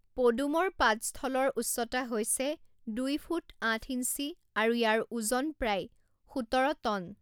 পদুমৰ পাদস্থলৰ উচ্চতা হৈছে দুই ফুট আঠ ইঞ্চি আৰু ইয়াৰ ওজন প্ৰায় সোতৰ টন।